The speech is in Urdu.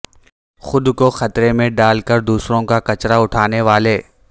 خود کو خطرے میں ڈال کر دوسروں کا کچرا اٹھانے والے